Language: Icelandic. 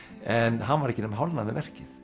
en hann var ekki nema hálfnaður með verkið